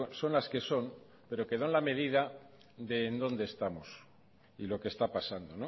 son las que son pero que dan la medida de en donde estamos y lo que está pasando